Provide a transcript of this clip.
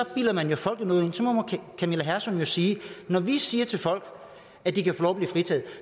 bilder man jo folk noget ind så må camilla hersom jo sige når vi siger til folk at de kan få lov at blive fritaget